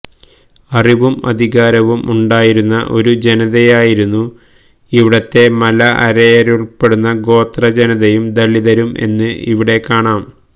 അറിവും അധികാരവും ഉണ്ടായിരുന്ന ഒരു ജനതയായിരുന്നു ഇവിടത്തെ മല അരയരുൾപ്പെടുന്ന ഗോത്ര ജനതയും ദലിതരും എന്ന് അവിടെ കാണാം